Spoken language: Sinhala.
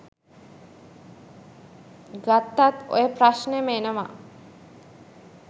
ගත්තත් ඔය ප්‍රශ්නෙම එනව.